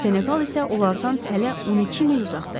Seneqal isə onlardan hələ 12 mil uzaqda idi.